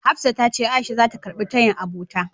Hafsat tace A'isha zata karɓi tayin abota.